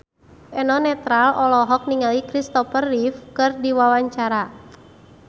Eno Netral olohok ningali Christopher Reeve keur diwawancara